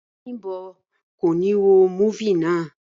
Bím̀bọ́ ò ní wo múfì náà